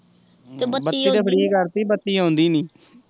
ਬੱਤੀ ਤੇ free ਕਰਤੀ ਪਰ ਬੱਤੀ ਆਉਂਦੀ ਨੀ ਐ